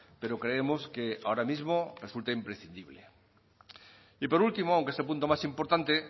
pero creemos que ahora mismo resulta imprescindible y por último aunque es el punto más importante